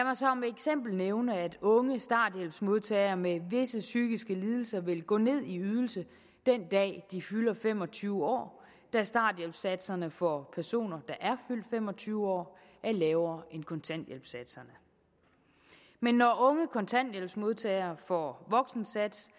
eksempel nævne at unge starthjælpsmodtagere med visse psykiske lidelser vil gå ned i ydelse den dag de fylder fem og tyve år da starthjælpssatserne for personer der er fyldt fem og tyve år er lavere end kontanthjælpssatserne men når unge kontanthjælpsmodtagere får voksensats